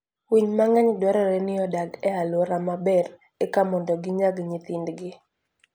Winy mang'eny dwarore ni odag e alwora maber eka mondo ginyag nyithindgi.